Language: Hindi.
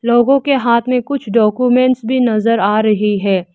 लोगों के हाथ में कुछ डाक्यूमेंट्स भी नजर आ रही है।